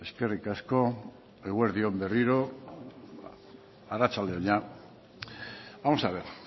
eskerrik asko eguerdi on berriro arratsalde on jada vamos a ver